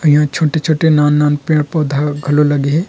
यहाँ छोटे-छोटे नान-नान पेड़-पौधा घलो लगे हे।